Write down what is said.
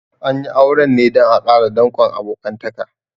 An yi auren ne dan a ƙara dankon abokantaka